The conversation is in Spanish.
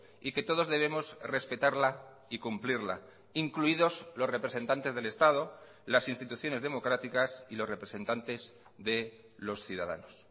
y que todos debemos respetarla y cumplirla incluidos los representantes del estado las instituciones democráticas y los representantes de los ciudadanos